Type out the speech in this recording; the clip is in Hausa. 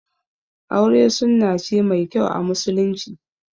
Aure sunna ce mai kyau a musulunci